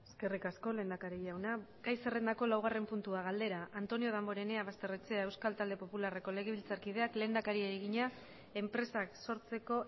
eskerrik asko lehendakari jauna gai zerrendako laugarren puntua galdera antonio damborenea basterrechea euskal talde popularreko legebiltzarkideak lehendakariari egina enpresak sortzeko